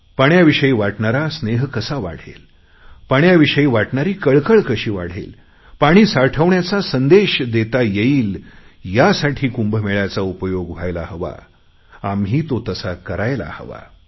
पाण्याविषयी वाटणारा स्नेह कसा वाढेल पाण्याविषयी वाटणारी कळकळ कशी वाढेल पाणी साठवण्याचा संदेश देता येईल यासाठी या कुंभमेळ्याचा उपयोग व्हायला हवा आम्ही तो तसा करायला हवा